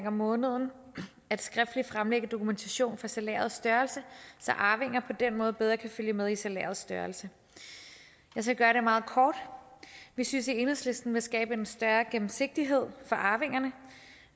om måneden skriftligt at fremlægge dokumentation for salærets størrelse så arvinger på den måde bedre kan følge med i salærets størrelse jeg skal gøre det meget kort vi synes i enhedslisten at der skabes en større gennemsigtighed for arvingerne